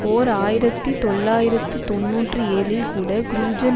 ஓர் ஆயிரத்தி தொள்ளாயிரத்து தொன்னூற்றி ஏழில் கூட க்ரூஜன்